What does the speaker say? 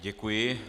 Děkuji.